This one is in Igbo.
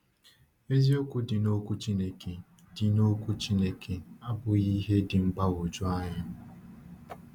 Eziokwu dị n’Ọkwú Chineke dị n’Ọkwú Chineke abụghị ihe dị mgbagwoju anya.